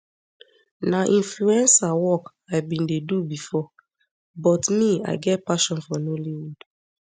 na influencer work i bin dey do bifor but me i get passion for nollywood